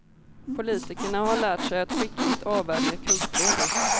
Politikerna har lärt sig att skickligt avvärja kuggfrågor.